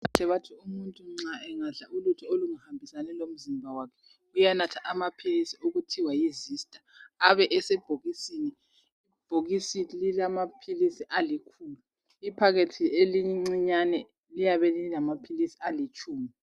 Kade batsho ukuthi umuntu angadla ukudla okungahambelani lomzimba wajhe uyanatha amaphilisi athiwa yiZista..Abesebhokisini. lbhokisi lilamaphilisi alikhulu. Ibhokisi elincane, liyabe lilamaphilisi alitshumi,